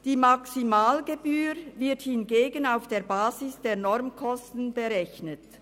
Die Maximalgebühr wird hingegen auf der Basis der Normkosten berechnet.